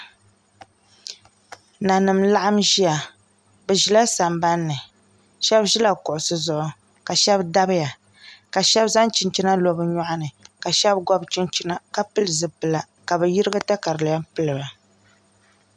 Nanim n laɣam ʒiya bi ʒila sambanni shab ʒila kuɣusi zuɣu ka shab dabiya ka shab zaŋ chinchina lo bi nyoɣa ni ka shab gobi chinchina ka pili zipila ka bi yirigi katalɛm piliba